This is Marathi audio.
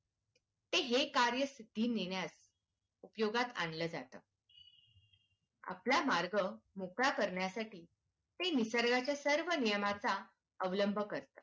ते हे कार्य सिद्धी नेण्यात उपयोगात आणले जात. आपला मार्ग मोकळा करण्यासाठी ते निसर्गाचा सर्व नियमाचा अवलंब करतात.